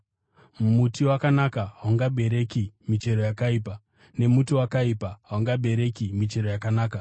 Muti wakanaka haungabereki michero yakaipa, nemuti wakaipa haungabereki michero yakanaka.